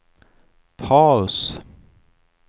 paus